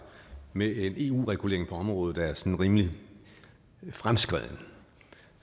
med en eu regulering på området er sådan rimelig fremskredet